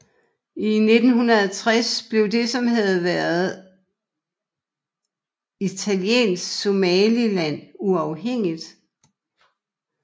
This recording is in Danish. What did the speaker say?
I 1960 blev det som havde været Italiensk Somaliland uafhængigt